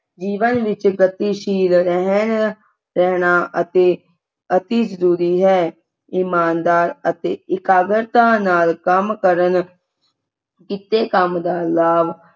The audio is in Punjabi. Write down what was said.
ਜੀਵਨ ਵਿਚ ਗਤੀਸ਼ੀਲ ਰਹਿਣ ਰਹਿਣਾ ਅਤੇ ਅਤਿ ਜਰੂਰੀ ਹੈ ਇਮਾਨਦਾਰ ਅਤੇ ਇਕਾਗਰਤਾ ਨਾਲ ਕੰਮ ਕਰਨ ਕੀਤੇ ਕੰਮ ਦਾ ਲਾਭ